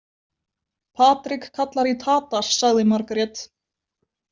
Patrik kallar í Tadas, sagði Margét.